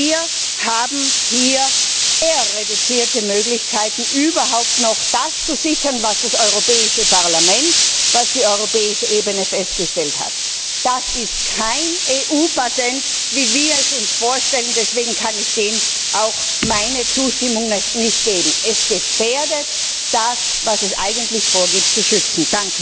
Wir haben hier sehr reduzierte Möglichkeiten, überhaupt noch das zu sichern, was das Europäische Parlament, was die europäische Ebene festgestellt hat. Das ist kein EU Patent, wie wir es uns vorstellen, deswegen kann ich dem auch meine Zustimmung nicht geben. Es gefährdet das, was es eigentlich vorgibt zu schützen.